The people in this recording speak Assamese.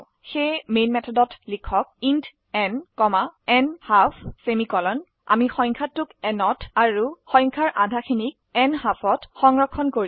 তাই মেন মেথডত লিখক ইণ্ট ন ন্হাল্ফ আমি সংখ্যাটোক n এত আৰু n ৰ আধা খিনিত সংখ্যা nHalfত সংৰক্ষণ কৰিম